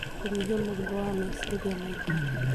kũnyihia mũrigo wa meciria maingĩ